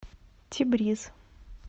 тебриз